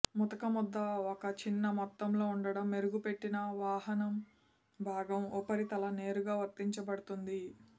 ముతక ముద్ద ఒక చిన్న మొత్తంలో ఉండటం మెరుగుపెట్టిన వాహనం భాగం ఉపరితల నేరుగా వర్తించబడుతుంది